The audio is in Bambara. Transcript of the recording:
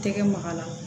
Tɛgɛ maga la